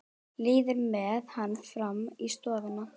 Líður með hann fram í stofuna.